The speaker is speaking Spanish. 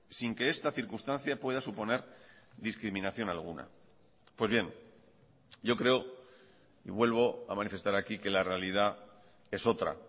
sin que esta circunstancia pueda suponer discriminación alguna pues bien yo creo y vuelvo a manifestar aquí que la realidad es otra